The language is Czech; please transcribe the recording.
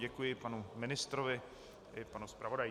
Děkuji panu ministrovi i panu zpravodaji.